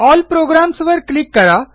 L programs वर click करा